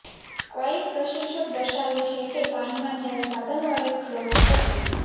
એક કવાયક પ્રશિક્ષક દર્શાવે છે કે પાણીમાં જ્યારે સાધન વડે ફ્લોટ ફૂંકવું